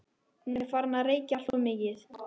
Hún er farin að reykja alltof mikið.